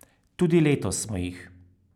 Tudi letos smo jih.